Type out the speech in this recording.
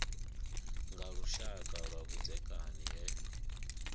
nga lushaka lwa vhudzekani he